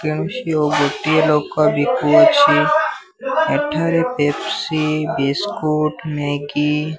କେଣୁ ସିଅ ଗୋଟିଏ ଲୋକ ବିକୁ ଅଛି। ଏଠାରେ ପେପ୍ ସି ବିସ୍କୁଟ୍ ମ୍ୟାଗି --